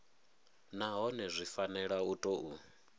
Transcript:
nahone zwi fanela u tou